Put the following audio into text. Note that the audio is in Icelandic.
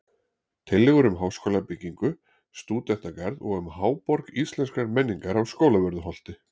Tillögur um háskólabyggingu, stúdentagarð og um Háborg Íslenskrar menningar á Skólavörðuholti